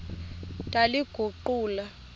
ndaliguqula